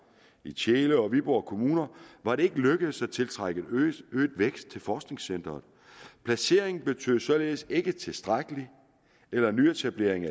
i tjele og viborg kommuner var det ikke lykkedes at tiltrække øget vækst til forskningscenteret placeringen betød således ikke tilstrækkelig eller ny etablering